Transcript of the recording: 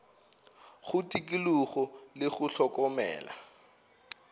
go tikologo le go hlokomela